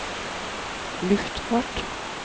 luftfart